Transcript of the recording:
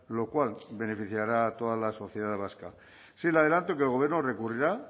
lo cual beneficiará a toda la sociedad vasca sí le adelanto que el gobierno recurrirá